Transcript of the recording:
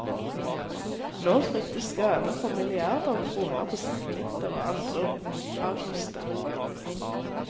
Nå fryktes skader for milliarder av kroner på satellitter og andre romfarkoster.